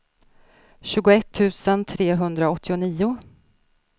tjugoett tusen trehundraåttionio